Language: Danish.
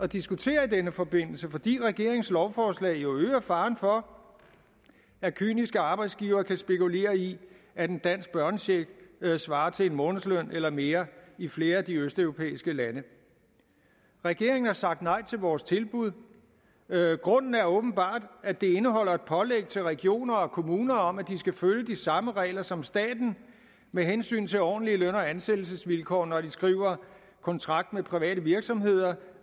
diskutere i denne forbindelse fordi regeringens lovforslag jo øger faren for at kyniske arbejdsgivere kan spekulere i at en dansk børnecheck svarer til en månedsløn eller mere i flere af de østeuropæiske lande regeringen har sagt nej til vores tilbud grunden er åbenbart at det indeholder et pålæg til regioner og kommuner om at de skal følge de samme regler som staten med hensyn til ordentlige løn og ansættelsesvilkår når de skriver kontrakt med private virksomheder